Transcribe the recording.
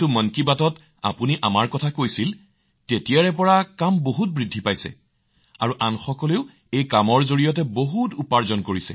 মন কী বাত কাৰ্যসূচীত আমাৰ মনৰ কথা উল্লেখ কৰাৰ পিছৰে পৰা মহোদয় তেতিয়াৰ পৰা কাম যথেষ্ট বৃদ্ধি পাইছে আৰু এই কামত আনৰ বাবে নিযুক্তিও যথেষ্ট বৃদ্ধি পাইছে